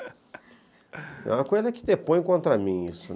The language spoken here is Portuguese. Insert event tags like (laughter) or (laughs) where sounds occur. (laughs) É uma coisa que depõe contra mim isso. (laughs)